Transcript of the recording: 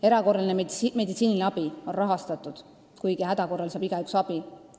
Erakorraline meditsiiniabi on rahastatud, häda korral saab igaüks abi.